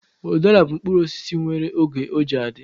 Udara bụ mkpụrụ osisi nwere oge ọ ji adị